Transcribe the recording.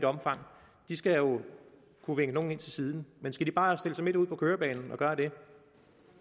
omfang skal jo kunne vinke nogen ind til siden skal de bare stille sig midt ud på kørebanen og gøre det